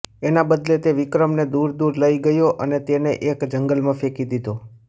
એના બદલે તે વિક્રમને દૂર દૂર લઈ ગયો અને તેને એક જંગલમાં ફેંકી દીધો